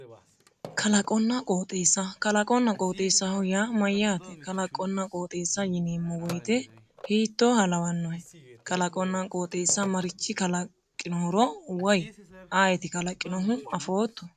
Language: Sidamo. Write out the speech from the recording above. Kalaqonna qooxeessa kalaqonna qooxeessaho yaa mayyaate kalaqonna qooxeessa yineemmo woyte hiittooha lawannohe kalaqonna qooxeessa marichi kalaqinohoro woy ayeeti kalaqinohu afootto